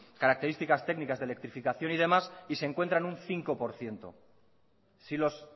características técnicas de electrificación y demás y se encuentra en un cinco por ciento si los